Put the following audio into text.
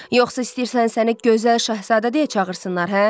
Yoxsa istəyirsən səni gözəl şahzadə deyə çağırsınlar, hə?